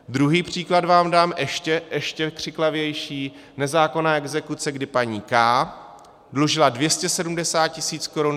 Druhý příklad vám dám, ještě křiklavější, nezákonná exekuce, kdy paní K. dlužila 270 tisíc korun.